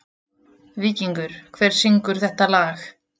Víkingur, hver syngur þetta lag?